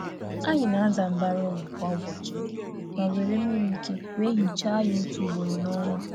Anyị na-asa mbara ụlọ kwa ụbọchị, ma na-asa ya n’ike na mmiri otu ugboro n’ọnwa.